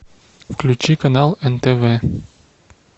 включи канал нтв